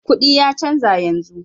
Kudi ya canza yanzu.